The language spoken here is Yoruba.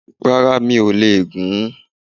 Rárá, mi ò lè gùn ún